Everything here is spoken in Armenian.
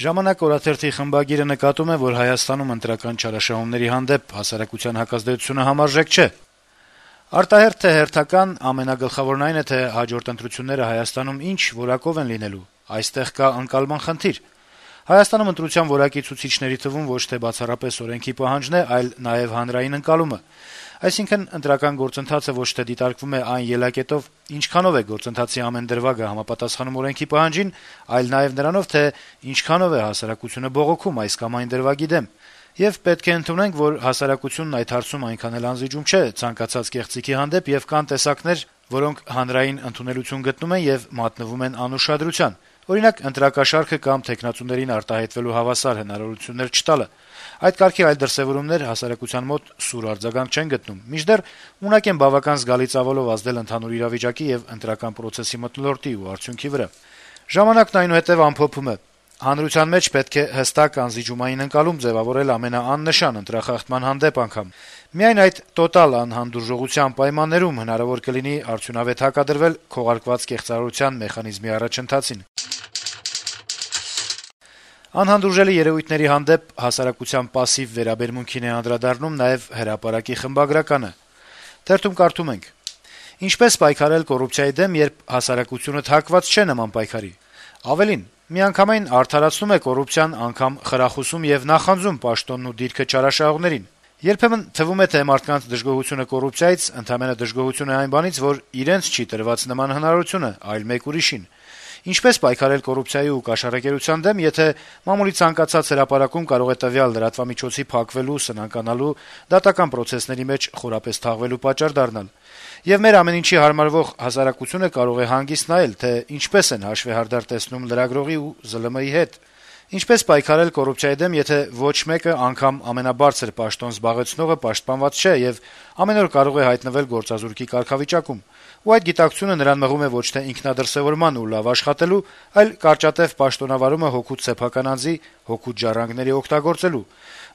«Ժամանակ» օրաթերթի խմբագիրը նկատում է, որ Հայաստանում ընտրական չարաշահումների հանդեպ հասարակության հակազդեցությունը համարժեք չէ. - «Արտահերթ թե հերթական` ամենագլխավորն այն է, թե հաջորդ ընտրությունները Հայաստանում ի՞նչ որակով են լինելու: Այստեղ կա ընկալման խնդիր: Հայաստանում ընտրության որակի ցուցիչների թվում ոչ թե բացառապես օրենքի պահանջն է, այլ նաեւ հանրային ընկալումը: Այսինքն` ընտրական գործընթացը ոչ թե դիտարկվում է այն ելակետով` ինչքանով է գործընթացի ամեն դրվագը համապատասխանում օրենքի պահանջին, այլ նաեւ նրանով, թե ինչքանով է հասարակությունը բողոքում այս կամ այն դրվագի դեմ: Եվ պետք է ընդունենք, որ հասարակությունն այդ հարցում այնքան էլ անզիջում չէ ցանկացած կեղծիքի հանդեպ, եւ կան տեսակներ, որոնք հանրային ընդունելություն գտնում են եւ մատնվում անուշադրության: Օրինակ` ընտրակաշառքը կամ թեկնածուներին արտահայտվելու հավասար հնարավորություններ չտալը: Այդ կարգի այլ դրսեւորումներ հասարակության մոտ սուր արձագանք չեն գտնում, մինչդեռ ունակ են բավական զգալի ծավալով ազդել ընդհանուր իրավիճակի եւ ընտրական պրոցեսի մթնոլորտի ու արդյունքի վրա»: Թերթն ամփոփում է. - «Հանրության մեջ պետք է հստակ անզիջումային ընկալում ձեւավորել ամենաանշան ընտրախախտման հանդեպ անգամ: Միայն այդ տոտալ անհանդուրժողականության պայմաններում հնարավոր կլինի արդյունավետ հակադրվել քողարկված կեղծարարության մեխանիզմի առաջընթացին»: Անհանդուրժելի երեւույթների հանդեպ հասարակության պասսիվ վերաբերմունքին է անդրադառնում նաեւ «Հրապարակ»-ի խմբագրականը. -« Ինչպե՞ս պայքարել կոռուպցիայի դեմ, երբ հասարակությունդ հակված չէ նման պայքարի: Ավելին՝ միանգամայն արդարացնում է կոռուպցիան, անգամ խրախուսում եւ նախանձում պաշտոնն ու դիրքը չարաշահողներին: Երբեմն թվում է, թե մարդկանց դժգոհությունը կոռուպցիայից ընդամենը դժգոհություն է այն բանից, որ իրենց չի տրված նման հնարավորությունը, այլ մեկ ուրիշին: Ինչպե՞ս պայքարել կոռուպցիայի ու կաշառակերության դեմ, եթե մամուլի ցանկացած հրապարակում կարող է տվյալ լրատվամիջոցի փակվելու, սնանկանալու, դատական պրոցեսների մեջ խորապես թաղվելու պատճառ դառնալ: Եվ մեր ամեն ինչի հարմարվող հասարակությունը կարող է հանգիստ նայել, թե ինչպես են հաշվեհարդար տեսնում լրագրողի ու ԶԼՄ-ի հետ: Ինչպե՞ս պայքարել կոռուպցիայի դեմ, եթե ոչ մեկը, անգամ ամենաբարձր պաշտոն զբաղեցնողը, պաշտպանված չէ եւ ամեն օր կարող է հայտնվել գործազուրկի կարգավիճակում, ու այդ գիտակցությունը նրան մղում է ոչ թե ինքնադրսեւորման ու լավ աշխատելու, այլ կարճատեւ պաշտոնավարումը հօգուտ սեփական անձի, հօգուտ ժառանգների օգտագործելու: